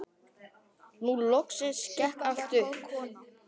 Nú loksins gekk allt upp.